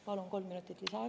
Palun kolm minutit lisaaega.